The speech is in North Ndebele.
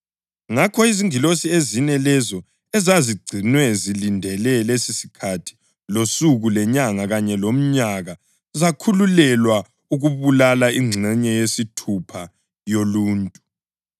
Ngakho izingilosi ezine lezo ezazigcinwe zilindele lesisikhathi losuku lenyanga kanye lomnyaka zakhululelwa ukubulala ingxenye yesithathu yoluntu.